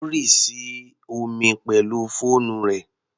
Ó rì sí omi pẹ̀lú fóònù rẹ̀.